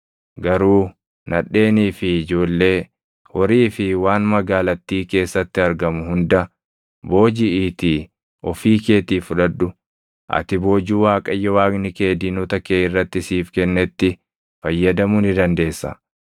Garuu nadheenii fi ijoollee, horii fi waan magaalattii keessatti argamu hunda boojiʼiitii ofii keetii fudhadhu; ati boojuu Waaqayyo Waaqni kee diinota kee irratti siif kennetti fayyadamuu ni dandeessa.